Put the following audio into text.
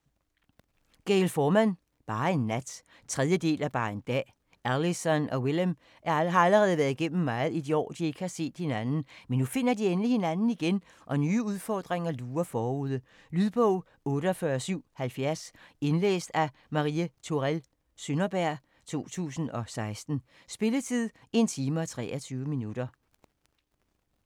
Forman, Gayle: Bare en nat 3. del af Bare en dag. Allyson og Willem har allerede været meget igennem i det år de ikke har set hinanden, men nu finder de endelig hinanden igen og nye udfordringer lurer forude. Lydbog 48770 Indlæst af Marie Tourell Søderberg, 2016. Spilletid: 1 time, 23 minutter.